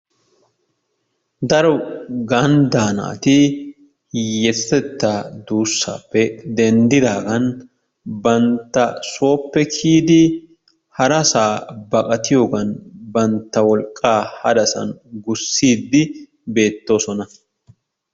Daro ganddaa naati hiyyeesatettaa duussaappe denddidaagan bantta sooppe kiyidi harasaa baqatiyogan bantta wolqqaa hadasan wurssiiddi beettoosona.